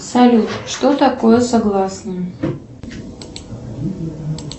салют что такое согласные